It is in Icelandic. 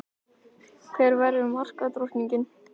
Hver verður markadrottning?